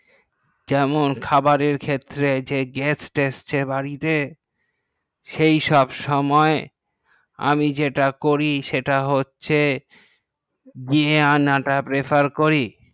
যেমন খাবারের ক্ষেত্রে যে গ্যাস যাচ্ছে বাড়িতে সেসব সময় আমি যেটা করি সেটা হচ্ছে নিয়ে আনা টা prefer করি